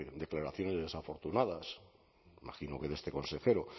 de declaraciones desafortunadas imagino que de este consejero